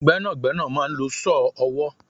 Gbẹ́nàgbẹ́nà máa ń lò saw ọwọ